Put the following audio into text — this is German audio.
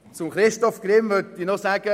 Zu Christoph Grimm möchte ich noch sagen: